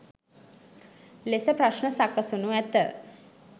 ලෙස ප්‍රශ්න සකසනු ඇත.